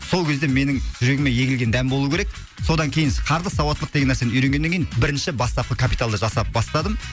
сол кезде менің жүрегіме егілген дән болуы керек содан кейін с қаржылық сауаттылықты деген нәрсені үйренгеннен кейін бірінші бастапқы капиталды жасап бастадым